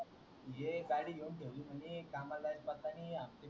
ये गाडी घेऊन ठेवली म्हणे कामाला जाय चा पत्ता नाय